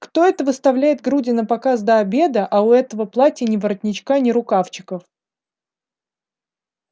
кто это выставляет груди напоказ до обеда а у этого платья ни воротничка ни рукавчиков